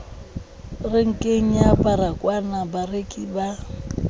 renkeng ya baragwanath barekisi ba